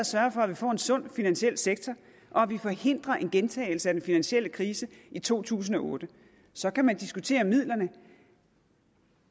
sørge for at vi får en sund finansiel sektor og forhindrer en gentagelse af den finansielle krise i to tusind og otte så kan man diskutere midlerne